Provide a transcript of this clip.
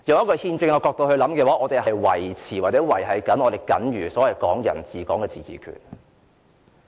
從憲政角度而言，我們正在維繫"港人治港"下僅餘的自治權。